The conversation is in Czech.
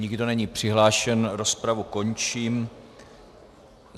Nikdo není přihlášen, rozpravu končím.